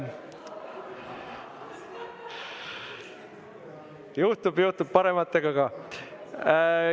Juhtub, juhtub ka parematega.